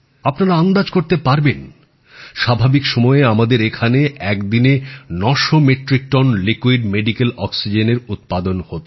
আপনারা আন্দাজ করতে পারবেন স্বাভাবিক সময়ে আমাদের এখানে এক দিনে ৯00 মেট্রিক টন চিকিৎসার কাজে ব্যবহৃত তরল অক্সিজেন উৎপাদন হত